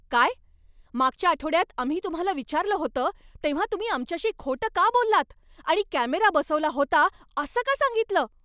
काय? मागच्या आठवड्यात आम्ही तुम्हाला विचारलं होतं तेव्हा तुम्ही आमच्याशी खोटं का बोललात आणि कॅमेरा बसवला होता असं का सांगितलं?